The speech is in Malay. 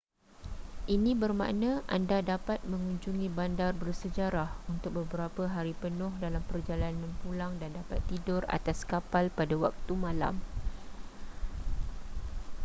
ini bermakna anda dapat mengunjungi bandar bersejarah untuk beberapa hari penuh dalam perjalanan pulang dan dapat tidur atas kapal pada waktu malam